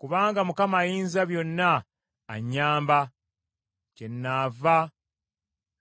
Kubanga Mukama Ayinzabyonna anyamba kyennaava